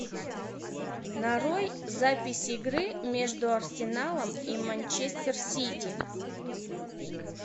нарой запись игры между арсеналом и манчестер сити